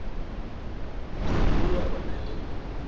re morula o na le